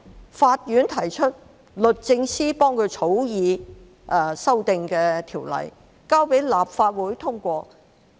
由法院提出，律政司為它草擬修訂的條例，交到立法會通過。